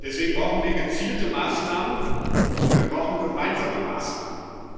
Deswegen brauchen wir gezielte Maßnahmen, und wir brauchen gemeinsame Maßnahmen.